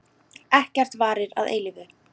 Ekkert varir að eilífu.